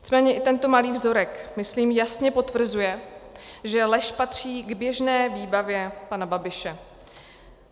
Nicméně i tento malý vzorek, myslím, jasně potvrzuje, že lež patří k běžné výbavě pana Babiše.